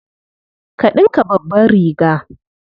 Ka ɗinka babbar riga.